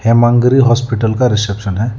Himagiri hospital का reception है।